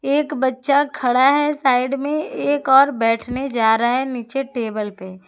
एक बच्चा खड़ा है साइड में एक और बैठने जा रहा है नीचे टेबल पे।